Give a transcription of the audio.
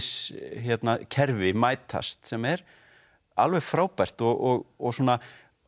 gildiskerfi mætast sem er alveg frábært og og svona